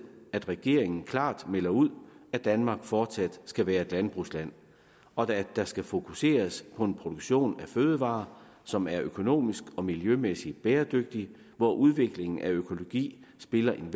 at regeringen klart melder ud at danmark fortsat skal være et landbrugsland og at der skal fokuseres på en produktion af fødevarer som er økonomisk og miljømæssigt bæredygtig hvor udviklingen af økologi spiller en